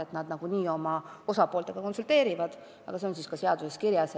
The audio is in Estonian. Nad küll nagunii sidusrühmadega konsulteerivad, aga olgu see siis ka seaduses kirjas.